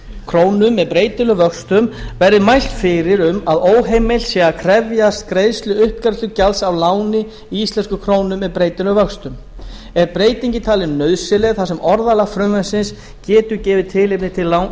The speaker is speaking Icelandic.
krónum með breytilegum vöxtum verði mælt fyrir um að óheimilt sé að krefjast greiðslu uppgreiðslugjalds af láni í íslenskum krónum með breytilegum vöxtum er breytingin talin nauðsynleg þar sem orðalag frumvarpsins getur gefið tilefni til